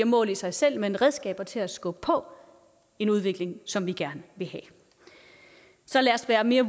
mål i sig selv men redskaber til at skubbe på en udvikling som vi gerne vil have så lad os være mere